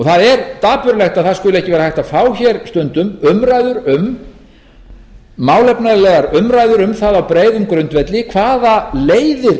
það er dapurlegt að að skuli ekki vera hægt að fá stundum málefnalegar umræður um það á breiðum grundvelli hvaða leiðir